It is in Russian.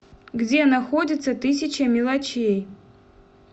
где находится тысяча мелочей